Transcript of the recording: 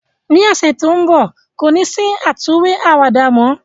Ni ọsẹ to nbọ, ko ni si àtúnwí àwàdà mọ.